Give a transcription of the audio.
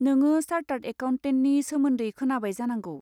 नोङो चार्टार्द एकाउन्टेन्टनि सोमोन्दै खोनाबाय जानांगौ।